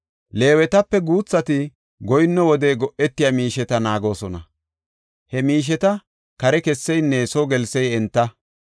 Leewetape guuthati goyinno wode go7etiya miisheta naagoosona; he miisheta kare kesseynne soo gelsey enta.